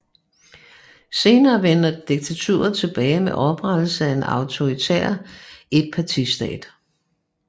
Senere vendte diktaturet tilbage med oprettelsen af en autoritær etpartistat